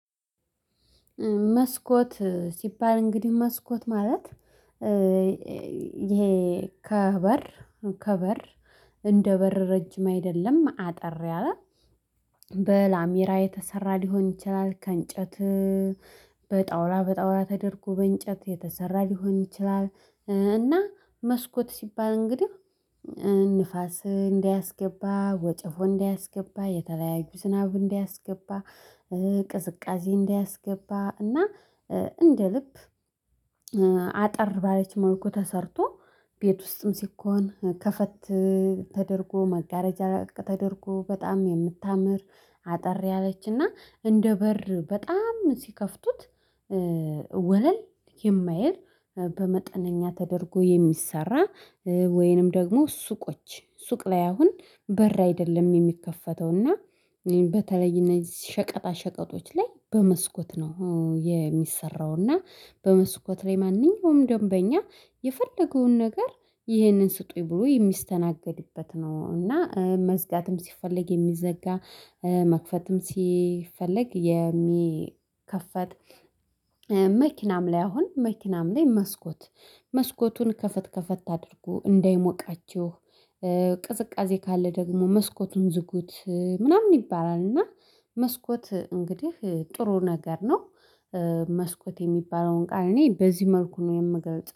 መስኮት ሲባል እንግዲህ መስኮት ማለት ይሄ ከበር ከበር እንደ በር ረጅም አይደለም አጠር ያለ በላሜራ የተሰራ ሊሆን ይችላል ከእንጨት በጣውላ በጣውላ ተደርጎ በእንጨት የተሰራ ሊሆን ይችላል። እና መስኮት ሲባል እንግዲህ ንፋስ እንዳያስገባ ወጨፎ እንዳያስገባ የተለያዩ ዝናብ እንዳያስገባ። ቅዝቃዜ እንዳያስገባ እና እንደ ልብ አጠር ባለች መልኩ ተሰርቶ ቤት ውስጥም ሲኮን ከፈት ተደርጎ መጋረጃ ተደርጎ በጣም የምታምር አጠር ያለች እና እንደ በር በጣም ሲከፍቱት ወለል የማይል በመጠነኛ ተደርጎ የሚሰራ። ወይንም ደግሞ ሱቆች ሱቅ ላይ አሁን በር አይደለም የሚከፈተው እና በተለይ እነዚህ ሸቀጣ ሸቀጦች ላይ በመስኮት ነው የሚሰራው። እና በመስኮት ላይ ማንኛውም ደንበኛ የፈለገውን ነገር ይህንን ስጡኝ ብሎ የሚስተናገድበት ነው። እና መዝጋትም ሲፈለግ የሚዘጋ መክፈትም ሲፈልግ የሚከፈት። መኪናም ላይ አሁን መኪናም ላይ መስኮት መስኮቱን ከፈት ከፈት አድርጎ እንዳይሞቃችሁ ቅዝቃዜ ካለ ደግሞ መስኮቱን ዝጉት ምናምን ይባላል። እና መስኮት እንግዲህ ጥሩ ነገር ነው። መስኮት የሚባለውን ቃል እኔ በዚህ መልኩ ነው የምገልጽ